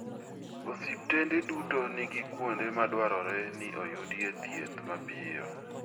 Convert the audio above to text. Osiptende duto nigi kuonde ma dwarore ni oyudie thieth mapiyo.